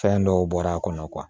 Fɛn dɔw bɔr'a kɔnɔ